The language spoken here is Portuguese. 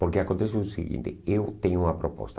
Porque acontece o seguinte, eu tenho uma proposta.